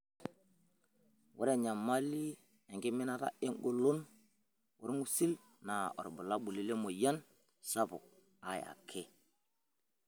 Ore enyamali enkiminata engolon olng'usil naa olbulabuloi lemoyian sapuk ae ake.